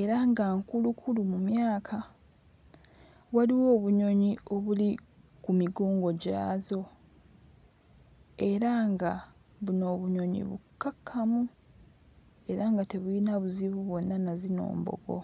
era nga nkulukulu mu myaka waliwo obunyonyi obuli ku migongo gyazo era nga buno obunyonyi bukkakkamu era nga tebuyina buzibu bwonna na zino embogo.